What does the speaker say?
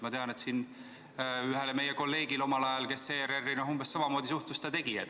Ma tean, et ühele meie kolleegile omal ajal, kes ERR-i umbes samamoodi suhtus, ta tegi märkuse.